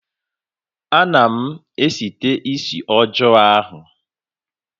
Anaghị m site isi ọjọọ ahụ